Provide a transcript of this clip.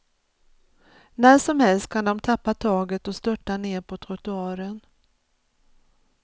När som helst kan de tappa taget och störta ner på trottoaren.